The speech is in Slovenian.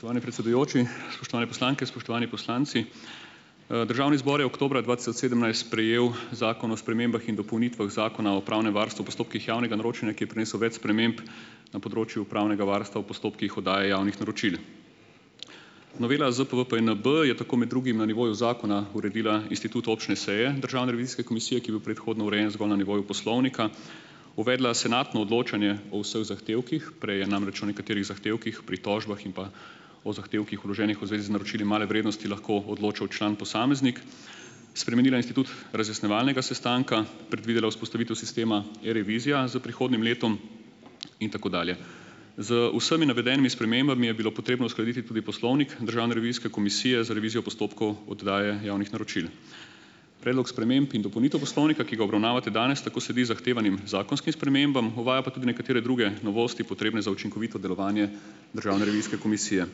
Spoštovani predsedujoči! Spoštovane poslanke, spoštovani poslanci! Državni zbor je oktobra dva tisoč sedemnajst sprejel Zakon o spremembah in dopolnitvah Zakona o pravnem varstvu v postopkih javnega naročanja, ki je prinesel več sprememb na področju pravnega varstva v postopkih oddaje javnih naročil. Novela ZPVPJNB je tako med drugim na nivoju zakona uredila institut občne seje Državne revizijske komisije, ki je bil predhodno urejen zgolj na nivoju poslovnika. Uvedla senatno odločanje o vseh zahtevkih, prej je namreč o nekaterih zahtevkih, pritožbah in pa o zahtevkih, vloženih v zvezi z naročili male vrednosti, lahko odločal član posameznik, spremenila institut razjasnjevalnega sestanka, predvidela vzpostavitev sistema E-revizija s prihodnjim letom in tako dalje. Z vsemi navedenimi spremembami je bilo potrebno uskladiti tudi Poslovnik Državne revizijske komisije za revizijo postopkov oddaje javnih naročil. Predlog sprememb in dopolnitev poslovnika, ki ga obravnavate danes, tako sedi zahtevanim zakonskim spremembam, uvaja pa tudi nekatere druge novosti, potrebne za učinkovito delovanje Državne revizijske komisije.